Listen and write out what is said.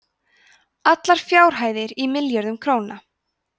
allar fjárhæðir í milljörðum króna